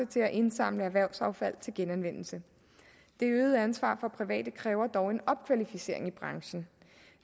til at indsamle erhvervsaffald til genanvendelse det øgede ansvar for private kræver dog en opkvalificering i branchen